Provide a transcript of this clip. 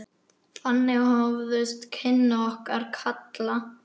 Þannig hófust kynni okkar Kalla.